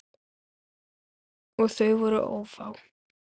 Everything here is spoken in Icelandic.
Og þau voru ófá.